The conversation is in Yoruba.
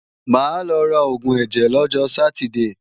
Máa lọ ra oògùn ẹ̀jẹ̀ lọ́jọ Sátidée